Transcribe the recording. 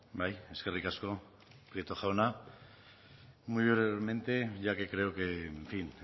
bai eskerrik asko prieto jauna muy brevemente ya que creo que en fin